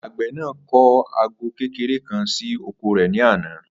Àgbè̩ náà kó̩ àgó̩ kékeré kan sí oko rè̩ ní àná